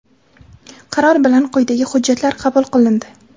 Qaror bilan quyidagi hujjatlar qabul qilindi:.